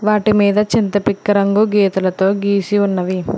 వాటి మీద చింతపిక్క రంగు గీతలతో గీసి ఉన్నవి.